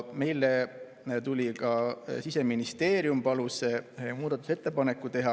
Siseministeerium palus muudatusettepaneku teha.